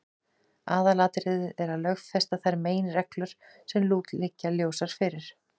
Aðalatriðið er að lögfesta þær meginreglur sem nú liggja ljósar fyrir.